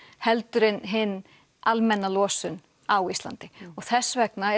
heldur en hin almenna losun á Íslandi og þess vegna